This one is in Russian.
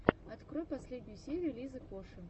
открой последнюю серию лизы коши